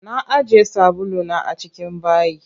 Na ajiye sabulu na a cikin bayi.